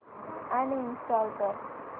uninstall कर